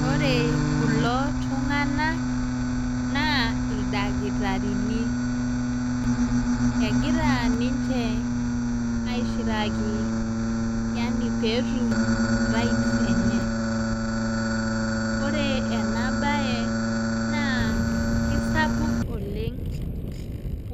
Ore kulo tung'ana naa ildakitarini. Egira ninche aishiraki yaani pee etum right enye. Ore enaa bad naa kisapuk oleng'